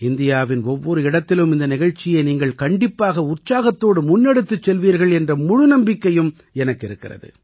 இந்தியாவின் ஒவ்வொரு இடத்திலும் இந்த நிகழ்ச்சியை நீங்கள் கண்டிப்பாக உற்சாகத்தோடு முன்னெடுத்துச் செல்வீர்கள் என்ற முழு நம்பிக்கையும் எனக்கு இருக்கிறது